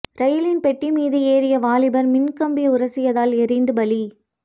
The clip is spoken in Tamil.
ரயிலின் பெட்டி மீது ஏறிய வாலிபர் மின்கம்பி உரசியதால் எரிந்து பலி